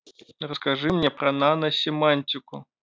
расскажи мне про наносемантику